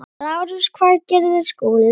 LÁRUS: Hvað gerði Skúli?